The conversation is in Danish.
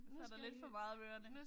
Så er der lidt for meget om ørerne